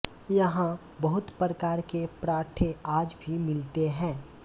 यहां बहुत प्रकार के परांठे आज भी मिलते हैं